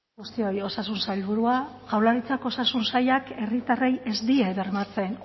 guztioi osasun sailburua jaurlaritzako osasun sailak herritarrei ez die bermatzen